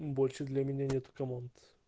больше для меня нету команд